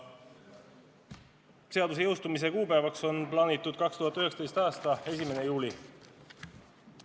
Seaduse jõustumise kuupäevaks on plaanitud 2019. aasta 1. juuli.